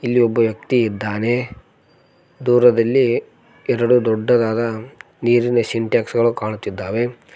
ಇಲ್ಲಿ ಒಬ್ಬ ವ್ಯಕ್ತಿ ಇದ್ದಾನೆ ದೂರದಲ್ಲಿ ಎರಡು ದೊಡ್ಡದಾದ ನೀರಿನ ಸಿಂಟೆಕ್ಸ ಗಳು ಕಾಣುತ್ತಿದ್ದಾವೆ.